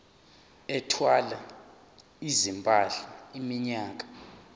ethwala izimpahla iminyaka